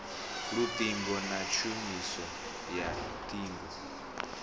luṱingo na tshumiso ya ṱhingo